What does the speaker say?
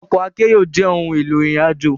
Òkò àkèéró jè óoùn éló irin àjó